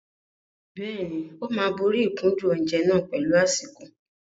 Bẹ́ẹ̀ni, ó máa borí ìkúndùn oúnjẹ náà pẹ̀lú àsìkò.